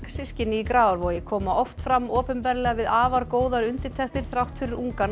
systkini í Grafarvogi koma oft fram opinberlega við afar góðar undirtektir þrátt fyrir ungan